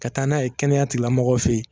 Ka taa n'a ye kɛnɛyatilamɔgɔw fe yen